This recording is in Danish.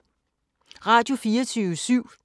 Radio24syv